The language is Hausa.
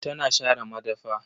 Tana share madafa.